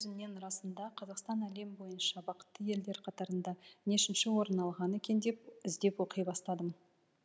кейін өзімнен расында қазақстан әлем бойынша бақытты елдер қатарында нешінші орын алған екен деп іздеп оқи бастадым